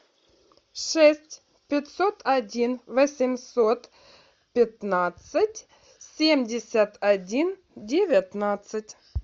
шесть пятьсот один восемьсот пятнадцать семьдесят один девятнадцать